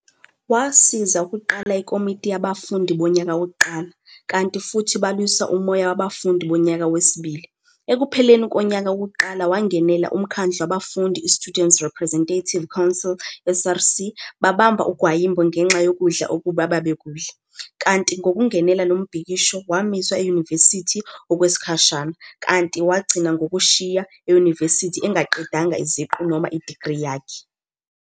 Wasiza ukuqala ikomiti yabafundi bonyaka wokuqala, kanti futhi balwisa umoya wabafundi bonyaka wesibili, ekupheleni konyaka wokuqala, wangenela umkhandlu wabafundi i-Students' Representative Council, SRC, babamba ugwayimbo ngenxa yokudla okubi ababekudla, kanti ngokungenela lo mbhikisho wamiswa eyunivesithi okwesikhashana, kanti wagcina ngokushiya eyunivesithi engaqedanga iziqu noma idigri yakhe